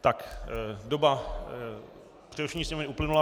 Tak doba přerušení sněmovny uplynula.